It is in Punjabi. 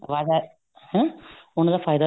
ਵਾਧਾ ਹੈ ਉਹਨਾ ਦਾ ਫਾਇਦਾ